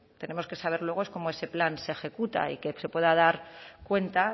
tenemos que saber luego es cómo ese plan se ejecuta y que se pueda dar cuenta